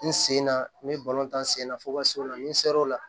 N sen na n bɛ n sen na fo ka se o la ni n sera o la